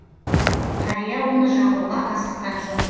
қария оны жағуға асыққан жоқ